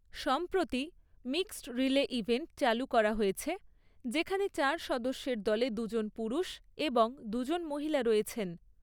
সম্প্রতি, mixed relay event চালু করা হয়েছে, যেখানে চার সদস্যের দলে দুজন পুরুষ এবং দুজন মহিলা রয়েছেন।